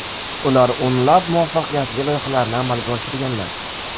Ular o‘nlab muvaffaqiyatli loyihalarni amalga oshirganlar.